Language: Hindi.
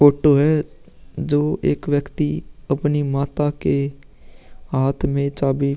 ऑटो है जो एक व्यक्ति अपनी माता के हाथ में चाबी --